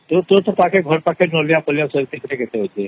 ତୋର ଘର ପାଖେ ନଡ଼ିଆ ଅଛି ସେତ କେମିତ ହଉଚି ?